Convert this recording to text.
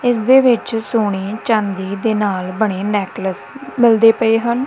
ਇਸਦੇ ਵਿੱਚ ਸੋਨੇ ਚਾਂਦੀ ਦੇ ਨਾਲ ਬਣੇ ਨੈਕਲਸ ਮਿਲਦੇ ਪਏ ਹਨ।